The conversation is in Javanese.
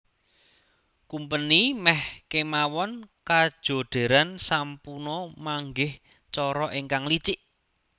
Kumpeni meh kemawon kajodheran sampuna manggih cara ingkang licik